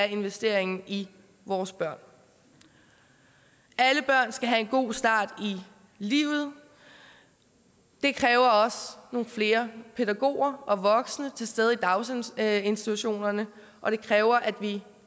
investeringen i vores børn alle børn skal have en god start i livet det kræver også nogle flere pædagoger og voksne til stede i daginstitutionerne og det kræver at vi